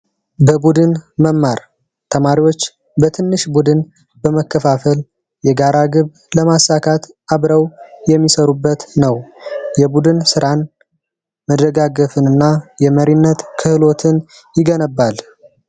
በቡድን መማር ተማሪዎች በትንሽ ቡድን በመከፋፈ ል የጋራ ግብ ለማሳካት አብረው የሚሰሩበት ነው የቡድን ስራን ና የመሪነት ክህሎትን ይገነባል